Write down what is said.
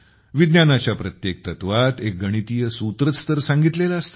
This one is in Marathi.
विज्ञानाच्या प्रत्येक तत्वात एक गणितीय सूत्रच तर सांगितलेले असते